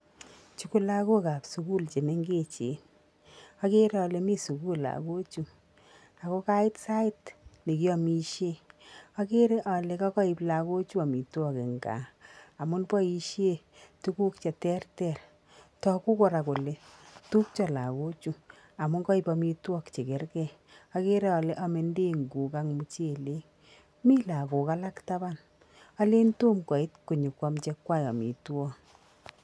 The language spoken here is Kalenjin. Chu kolagokab sukul chemengechen okere ole mi sukul lagochu ako kait sait nekiomisien okere ole kakoib lagochu omitwokik en kaa amun boisien tuguk cheterter, togu koraa kele tupcho lagochu amun koib omitwokik chekerkee okeree ole ome ndenguk ak muchelek mi lagok alak taban olen tom koit konyokwaam chekwak omitwokik.